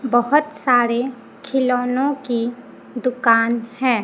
बहोत सारे खिलौनो की दुकान है।